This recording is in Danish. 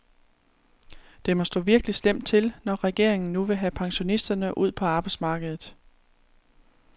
Det må stå virkelig slemt til, når regeringen nu vil have pensionisterne ud på arbejdsmarkedet.